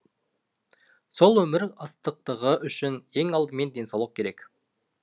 сол өмір ыстықтығы үшін ең алдымен денсаулық керек